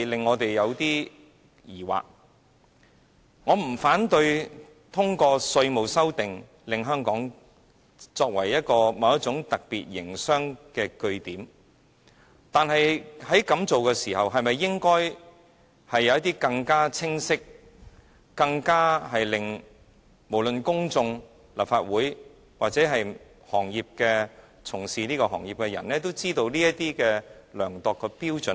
我不反對通過修訂《稅務條例》使香港成為某種特別營商的據點，但是，如此一來，是否應該有一些更清晰，令公眾、立法會或行業從業員都知道怎樣量度的標準？